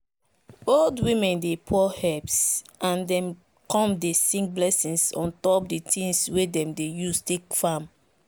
old women dey pour herbs and dem come dey sing blessings on top the things way dem dey use take farm.